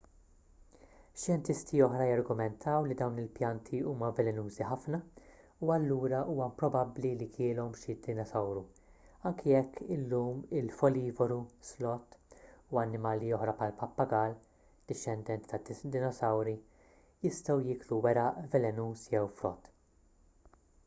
xjentisti oħra jargumentaw li dawn il-pjanti huma velenużi ħafna u allura huwa improbabbli li kielhom xi dinosawru anki jekk illum il-folivoru sloth” u annimali oħra bħall-pappagall dixxendent tad-dinosawri jistgħu jieklu weraq velenuż jew frott